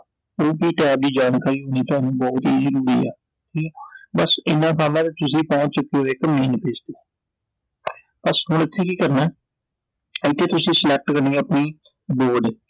ਠੀਕ ਐ, ਬਸ ਇਨ੍ਹਾਂ ਕੰਮ ਆ ਤੁਸੀਂ ਪਹੁੰਚ ਚੁਕੇ ਓ ਇੱਕ main page ਤੇI ਬਸ ਹੁਣ ਇਥੇ ਕੀ ਕਰਨਾ, ਇਥੇ ਤੁਸੀਂ select ਕਰਨੀ ਐ ਆਪਣੀ ਬੋਰਡ